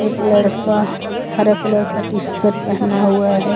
एक लड़का हरा कलर का टी-शर्ट पहना हुवा हैं।